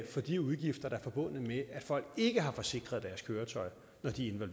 de udgifter der er forbundet med at folk ikke har forsikret deres køretøj når de er